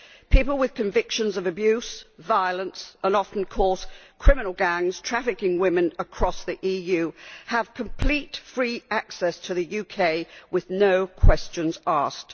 People with convictions for abuse, violence, and often, of course, criminal gangs trafficking women across the EU have complete, free access to the UK with no questions asked.